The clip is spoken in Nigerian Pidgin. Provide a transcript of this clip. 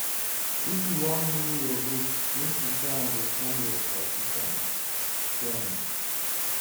If you wan know your root, make you try understand your tradition dem.